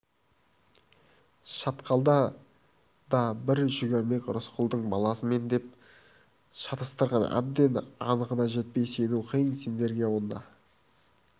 шатқалда да бір жүгермек рысқұлдың баласы мен деп шатастырған әбден анығына жетпей сену қиын сендерге онда